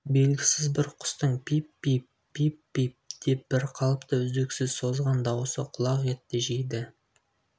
белгісіз бір құстың пип-пип пип-пип деп бір қалыпты үздіксіз созған даусы құлақ етті жейді